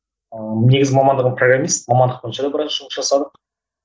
ыыы негізгі мамандығым программист мамандық бойынша да біраз жұмыс жасадық